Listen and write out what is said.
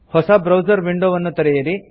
ಹೊಸ ಬ್ರೌಸರ್ ವಿಂಡೊವನ್ನು ತೆರೆಯಿರಿ